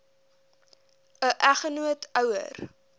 n eggenoot ouer